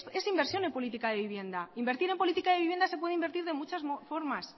es inversión en política de vivienda invertir en política de vivienda se puede invertir de muchas formas